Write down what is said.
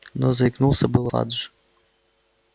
но заикнулся было ладж